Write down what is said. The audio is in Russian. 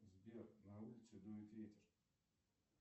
сбер на улице дует ветер